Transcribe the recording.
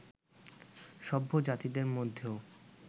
সভ্য জাতিদের মধ্যেও